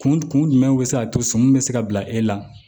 Kun kun jumɛn bɛ se ka to sɔmi bɛ se ka bila e la